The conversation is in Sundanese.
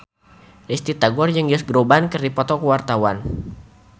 Risty Tagor jeung Josh Groban keur dipoto ku wartawan